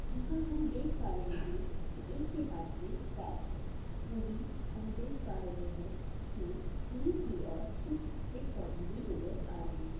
यहाँ हम देख पा रहे है एक के हाथ मे बैट है वही हम देख पा रहे है के दूर की और कुछ पेड पौधे भी नजर आ रहा है।